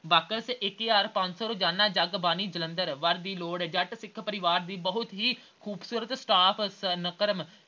Box ਇੱਕ ਹਜ਼ਾਰ ਪੰਜ ਸੌ ਰੋਜ਼ਾਨਾ ਜਗਬਾਣੀ ਜਲੰਧਰ। ਵਰ ਦੀ ਲੋੜ ਜੱਟ ਸਿੱਖ ਪਰਿਵਾਰ ਦੀ ਬਹੁਤ ਹੀ ਖ਼ੂਬਸੂਰਤ